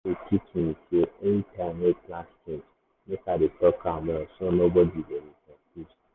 yesterday teach me sey anytime wey plans change make i dey talk am well so nobody go dey confused.